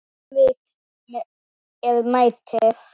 Hvert tilvik er metið.